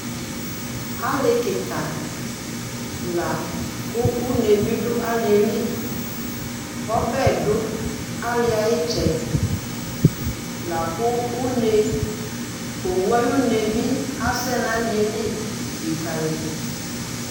Ali kɩka, lakʋ une bɩ dʋ alieli Ɔbɛ dʋ aliɛ ayɩtsɛdɩ Lakʋ une, owu ayʋ une bi asɛ nʋ alieli lɩkǝlɩdʋ